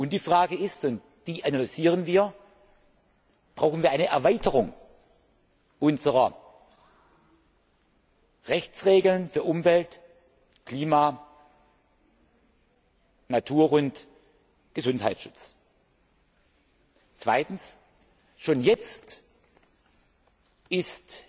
Die Frage ist und die analysieren wir ob wir eine Erweiterung unserer Rechtsregeln für Umwelt Klima Natur und Gesundheitsschutz brauchen. Zweitens Schon jetzt ist